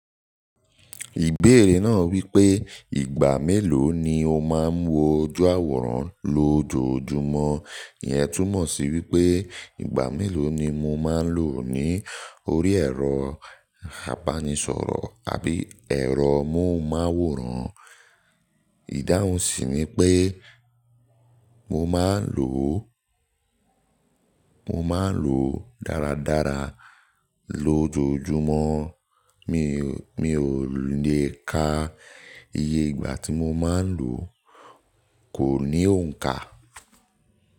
Ìbéèrè náà wípé ìgbà mélòó ni o máa ń wo ojú àwòrán lójoojúmọ́, ìyẹn túmọ̀ sí wípé ìgbà mélòó ni mo máa ń lò ó ní orí ẹ̀rọ apánisọ̀rọ̀ àbí ẹ̀rọ móhùnmáwòrán. Ìdáhùn sì ni pé mo máa ń lò ó, mo máa ń lò ó dáradára lójoojúmọ́. Mi, mi ò lè ka. Iye ìgbà tí mo máa ń lò ó, kò ní òǹkà.